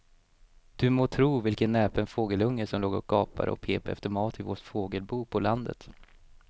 Du må tro vilken näpen fågelunge som låg och gapade och pep efter mat i vårt fågelbo på landet.